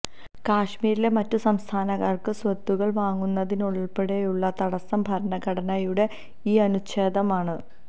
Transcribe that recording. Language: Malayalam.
കശ്മീരില് മറ്റു സംസ്ഥാനക്കാര്ക്ക് സ്വത്തുക്കള് വാങ്ങുന്നതിനുള്പ്പെടെയുള്ള തടസം ഭരണഘടനയുടെ ഈ അനുച്ഛേദമാണ്